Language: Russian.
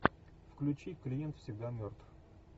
включи клиент всегда мертв